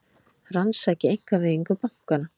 Rannsaki einkavæðingu bankanna